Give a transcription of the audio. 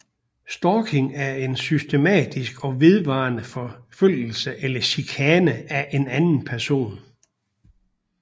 Stalking er en systematisk og vedvarende forfølgelse eller chikane af en anden person